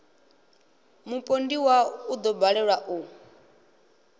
mupondiwa u ḓo balelwa u